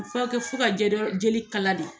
Furakɛ fo ka jeli kala de.